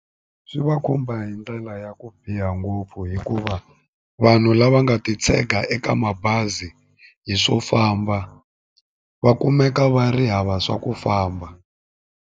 Swi va khumba hi ndlela ya ku biha ngopfu hikuva vanhu lava nga ti tshega eka mabazi hi swo famba va kumeka va ri hava swa ku famba.